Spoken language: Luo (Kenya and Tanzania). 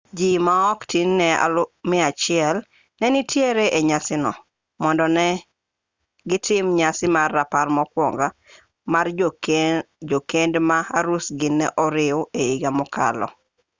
ji ma ok tin ne 100 ne nitiere e nyasi no mondo ne gitim nyasi mar rapar mokuongo mar jokeny ma arusgi ne oriw e higa mokalo